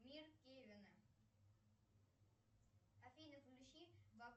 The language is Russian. мир кевина афина включи